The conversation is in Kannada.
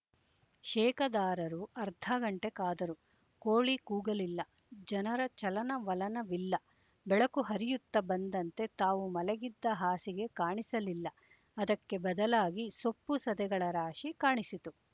ಶೇಕದಾರರು ಅರ್ಧಘಂಟೆ ಕಾದರು ಕೋಳಿ ಕೂಗಲಿಲ್ಲ ಜನರ ಚಲನವಲನವಿಲ್ಲ ಬೆಳಕು ಹರಿಯುತ್ತ ಬಂದಂತೆ ತಾವು ಮಲಗಿದ್ದ ಹಾಸಿಗೆ ಕಾಣಿಸಲಿಲ್ಲ ಅದಕ್ಕೆ ಬದಲಾಗಿ ಸೊಪ್ಪುಸದೆಗಳ ರಾಶಿ ಕಾಣಿಸಿತು